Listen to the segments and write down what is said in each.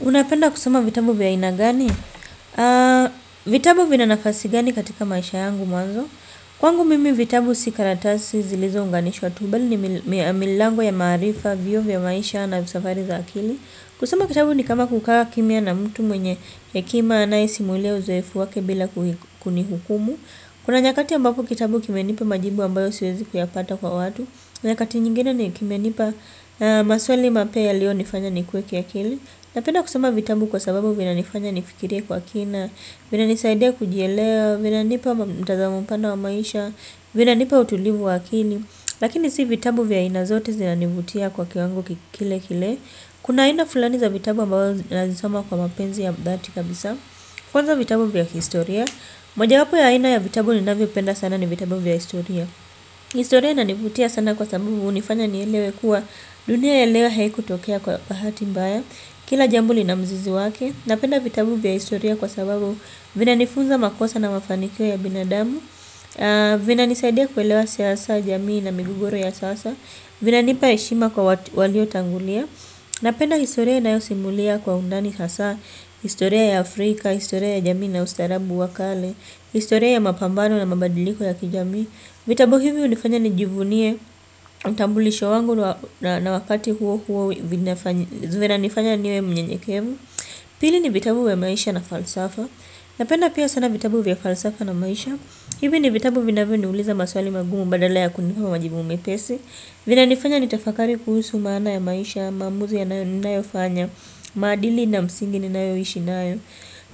Unapenda kusoma vitabu vya aina gani? Vitabu vina nafasi gani katika maisha yangu manzo? Kwangu mimi vitabu si karatasi zilizo unganishwa tu bali ni milango ya maarifa, vioo vya maisha na vya safari za akili. Kusoma kitabu ni kama kukaa kimya na mtu mwenye hekima anayehiisi mwile uzoefu wake bila kunihukumu. Kuna nyakati ambapo kitabu kimenipa majibu ambayo siwezi kuyapata kwa watu. Nyakati nyingine ni kimenipa maswali mapya ya lio nifanya nikuwe kiakili. Napenda kusoma vitabu kwa sababu vinanifanya nifikire kwa kina, vinanisaidia kujielewa, vinanipa mtazamo mpana wa maisha, vina nipa utulivu wa akili. Lakini si vitabu vya aina zote zinanivutia kwa kiwango kile kile. Kuna aina fulani za vitabu ambazo nazisoma kwa mapenzi ya dhati kabisa. Kwanza vitabu vya historia. Mojawapo ya aina ya vitabu ninavyopenda sana ni vitabu vya historia. Historia inanivutia sana kwa sababu hunifanya nielewe kuwa dunia ya leo haikutokea kwa bahati mbaya. Kila jambo lina mzizi wake, napenda vitabu vyaa historia kwa sababu vina nifunza makosa na mafanikio ya binadamu. Vina nisaidia kuelewa siasa jamii na migogoro ya sasa. Vinanipa heshima kwa walio tangulia. Napenda historia inayosimulia kwa undani hasa. Historia ya Afrika, historia ya jamii na ustaarabu wa kale. Historia ya mapambano na mabadiliko ya kijamii. Vitabu hivyo hunifanya nijivunie utambulisho wangu na wakati huo huo vina nifanya niwe mnyenyekevu. Pili ni vitabu vya maisha na falsafa. Napenda pia sana vitabu vya falsafa na maisha. Hivi ni vitabu vinavyoniuliza maswali magumu badala ya kunipa majibu mepesi. Vinanifanya nitafakari kuhusu maana ya maisha, maamuzi yanayo ninayofanya, maadili na msingi ninayo ishi nayo.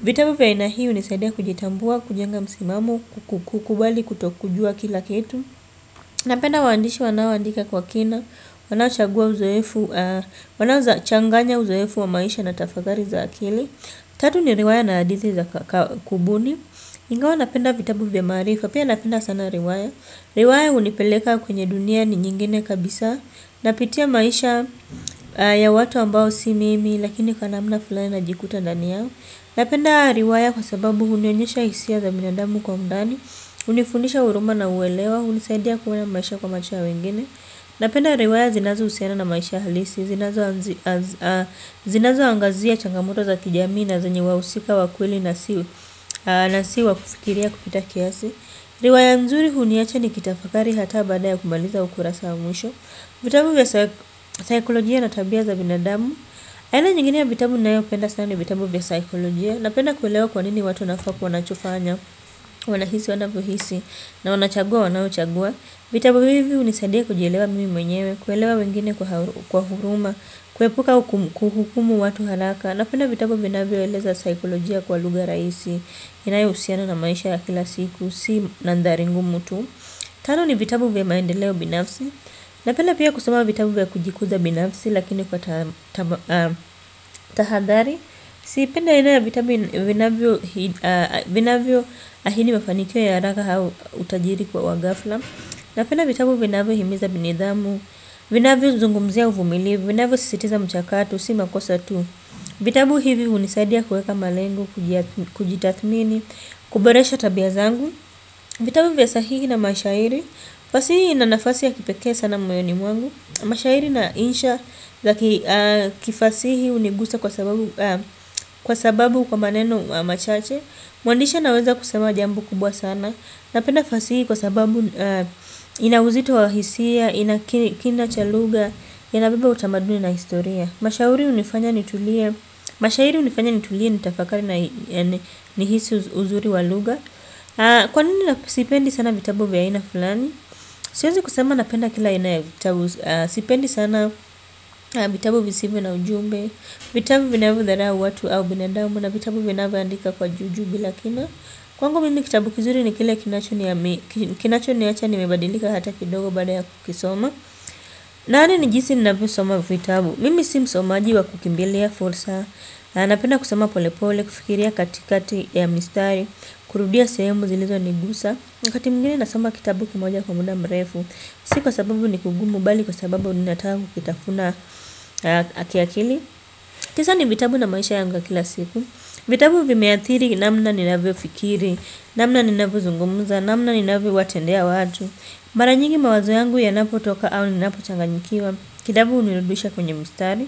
Vitabu vya aina hii hunisaidia kujitambua, kujenga msimamo, kukubali, kutokujua kila kitu. Napenda waandishi wanaoandika kwa kina. Wanachagua uzoefu, wanaweza changanya uzoefu wa maisha na tafakari za akili. Tatu ni riwaya na hadithi za kubuni. Ingawa napenda vitabu vya marifa, pia napenda sana riwaya. Riwaya hunipeleka kwenye dunia nyingine kabisa. Napitia maisha ya watu ambao si mimi, lakini kwa namna fulani najikuta ndani yao. Napenda riwaya kwa sababu hunionyesha hisia za binadamu kwa undani, hunifundisha huruma na uwelewa, hunisaidia kuona maisha kwa macho ya wengine. Napenda riwaya zinazohusiana na maisha halisi, zinazo angazia changamoto za kijami na zenye wahusika wa kweli na si wa kufikiria kupita kiasi. Riwaya nzuri huniacha ni kitafakari hata baada ya kumaliza ukurasa wa mwisho. Vitabu vya saikolojia na tabia za binadamu. Aina nyingine ya vitabu nayopenda sana ni vitabu vya saikolojia. Napenda kuelewa kwa nini watu wanafaa kuwa nachofanya. Wanahisi wanavyohisi na wanachagua wanaochagua. Vitabu hivi hunisadia kujielewa mimi mwenyewe. Kuelewa wengine kwa huruma. Kuepuka hukumu watu haraka. Napenda vitabu vinavyoeleza saikolojia kwa lugha raisi. Inayo husiana na maisha ya kila siku. Si nandhari ngumu tu. Tano ni vitabu vya maendeleo binafsi. Napenda pia kusoma vitabu ya kujikuza binafsi lakini kwa tahadhari. Sipendi ina ya vitabu vinavyo ahidi mafanikio ya haraka au utajiri kwa wa ghafla. Napenda vitabu vinavyo himiza nidhamu. Vinavyo zungumzia uvumilvu vinavyosisitiza mchakato, si makosa tu. Vitabu hivi hunisaidia kuweka malengo, kujitathmini, kuboresha tabia zangu. Vitabu vya sahihi na mashahiri. Fasihi ina nafasi ya kipekee sana moyoni mwangu. Mashairi na insha za ki kifasihi hunigusa kwa sababu kwa maneno machache. Mwandishi anaweza kusema jambo kubwa sana. Napenda fasihi kwa sababu ina uzito wa hisia. Ina kina cha lugha. Inabeba utamaduni na historia. Mashairi hunifanya nitulie nitafakari na nihisi uzuri wa lugha. Kwa nini na sipendi sana vitabu vya aina fulani. Siwezi kusema napenda kila aina vitabu. Sipendi sana vitabu visivyo na ujumbe. Vitavu vinavyo dharau watu au binadamu na vitavu vinavyo andika kwa juujuu bila kina. Kwangu mimi kitabu kizuri ni kile kinacho niacha nimebadilika hata kidogo baada ya kukisoma yaani nijihisi ninavyosoma vitabu. Mimi si msomaji wa kukimbilia fursa. Napenda kusoma polepole, kufikiria katikati ya mistari. Kurudia sehemu zilizo nigusa wakati mwingine nasoma kitabu kimoja kwa muda mrefu. Si kwa sababu ni kugumu bali kwa sababu ninataka kukitafuna kiakili. Kisa ni vitabu na maisha yangu wa kila siku. Vitabu vimeathiri namna ninavyo fikiri. Namna ninavyo zungumuza namna ninavyo watendea watu. Mara nyingi mawazo yangu yanapo toka au ninapo changanyikiwa. Kitabu hunirudisha kwenye mstari.